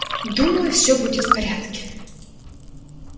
думаю все будет в порядке